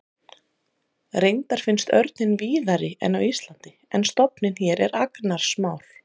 Reyndar finnst örninn víðari en á Íslandi en stofninn hér er agnarsmár.